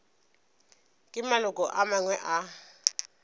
ke maloko a mangwe a